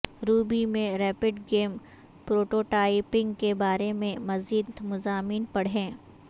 روبی میں rapid game prototyping کے بارے میں مزید مضامین پڑھیں